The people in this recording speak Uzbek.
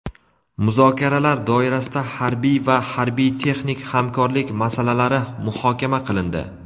Muzokaralar doirasida harbiy va harbiy-texnik hamkorlik masalalari muhokama qilindi.